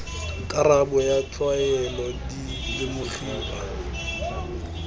karabo ya tlwaelo di lemogiwa